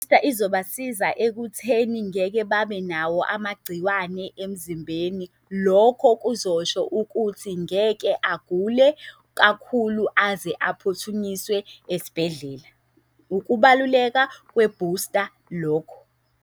izobasiza ekutheni ngeke babe nawo amagciwane emzimbeni. Lokho kuzosho ukuthi ngeke agule kakhulu aze aphuthunyiswe esibhedlela. Ukubaluleka kwebhusta lokho.